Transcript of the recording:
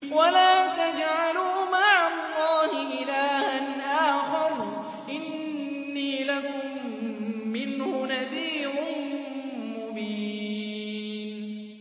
وَلَا تَجْعَلُوا مَعَ اللَّهِ إِلَٰهًا آخَرَ ۖ إِنِّي لَكُم مِّنْهُ نَذِيرٌ مُّبِينٌ